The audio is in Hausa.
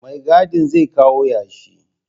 Mai gadin zai kawo yashi